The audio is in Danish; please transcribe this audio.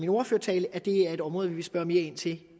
ordførertale er det her et område vi vil spørge mere ind til